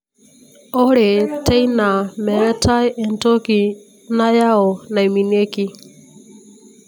ore teina meetae entoki nayau naimieki.